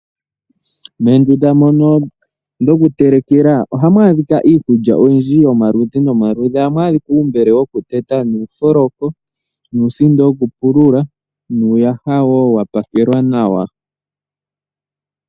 Moondunda mono dhokutelekela ohamu adhika iikulya oyindji yomaludhi nomaludhi. Ohamu adhika uumbele wokuteta nuufoloko nuusindo wokupilula nuuyaha wa pakelwa nawa.